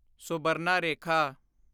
Subarnarekha